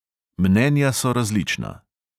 Mnenja so različna.